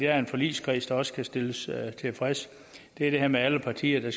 er en forligskreds der også skal stilles tilfreds det er det her med at alle partier